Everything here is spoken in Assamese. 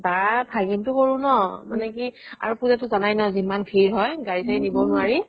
বা ভাগিনটো সৰু ন মানে কি আৰু তো পুজা জানাই ন জিমান ভিৰ হয় গাড়ী চাড়ী নিব নোৱাৰি